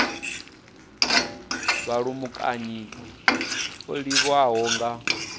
wa vhulamukanyi o tholiwaho nga